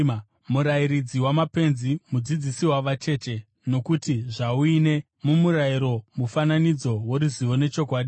murairidzi wamapenzi, mudzidzisi wavacheche, nokuti zvauine, mumurayiro, mufananidzo woruzivo nechokwadi,